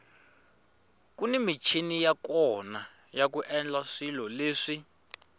kuni michini ya kona yaku endla swilo leswi